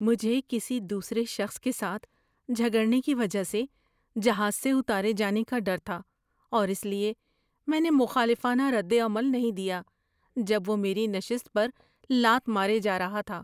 مجھے کسی دوسرے شخص کے ساتھ جھگڑنے کی وجہ سے جہاز سے اتارے جانے کا ڈر تھا اور اس لیے میں نے مخالفانہ ردعمل نہیں دیا جب وہ میری نشست پر لات مارے جا رہا تھا۔